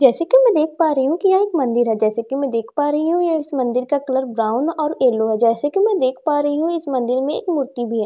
जैसे कि मैं देख पा रही हूं कि यह एक मंदिर है जैसे कि मैं देख पा रही हूं इस मंदिर का कलर ब्राउन और येलो है जैसे कि मैं देख पा रही हूं इस मंदिर में एक मूर्ति भी है जैसे कि मैं देख--